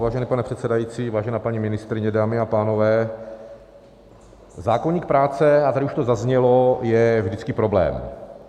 Vážený pane předsedající, vážená paní ministryně, dámy a pánové, zákoník práce, a tady už to zaznělo, je vždycky problém.